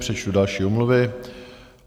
Přečtu další omluvy.